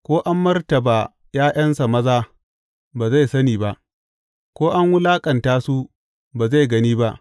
Ko an martaba ’ya’yansa maza, ba zai sani ba; Ko an wulaƙanta su, ba zai gani ba.